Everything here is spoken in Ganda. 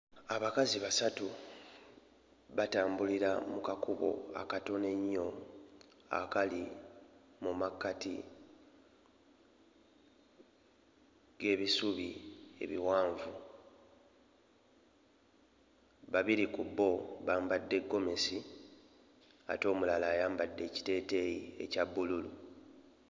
Abakazi basatu batambulira mu kakubo akatono ennyo akali mu makkati g'ebisubi ebiwanvu babiri ku bo bambadde ggomesi ate omulala ayambadde ekiteeteeyi ekya bbulu.